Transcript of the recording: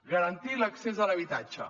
garantir l’accés a l’habitatge